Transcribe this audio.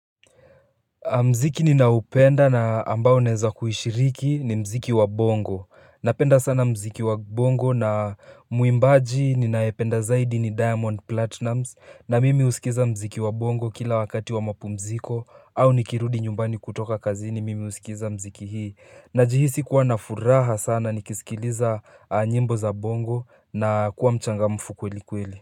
Mziki ninaoupenda na ambao naweza kuhishiriki ni mziki wa bongo. Napenda sana mziki wa bongo na muimbaji ninayependa zaidi ni Diamond platinum, na mimi husikiza mziki wa bongo kila wakati wa mapumziko, au nikirudi nyumbani kutoka kazini mimi husikiza mziki hii. Najihisi kuwa na furaha sana nikisikiliza nyimbo za bongo na kuwa mchangamfu kweli kweli.